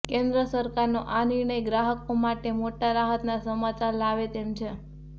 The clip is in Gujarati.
કેન્દ્ર સરકારનો આ નિર્ણય ગ્રાહકો માટે મોટા રાહતના સમાચાર લાવે તેમ છે